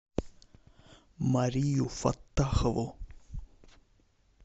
марию фаттахову